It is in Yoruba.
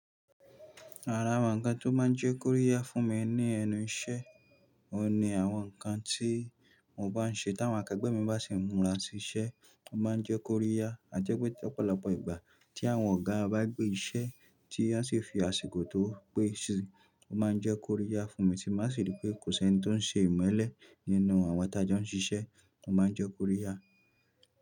Ara àwọn nǹkan tó máa n jẹ́ kóríyá fún mi ní ẹnu iṣẹ́, òun ni àwọn nǹkan tí mo bá n ṣe táwọn akẹgbẹ́ mi bá sì múra sí iṣẹ́, wọ́n máa n jẹ́ kóríyá. A jẹ́ pé lọ́pọ̀lọpọ̀ ìgbà tí àwọn ọ̀gá bá gbé iṣẹ́ tí wọ́n sì fi àsìkò tó pé síi, o máa n jẹ́ kóríyá fún mi tí bá sì rí pé kò si ẹ́nì tó n ṣe ìmọ́lẹ̀ nínú àwọn tí a jọ n ṣiṣẹ́, o máa n jẹ́ kóríyá.